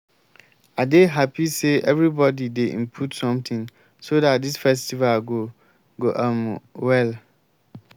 i dey happy say everybody dey input something so dat dis festival go go um well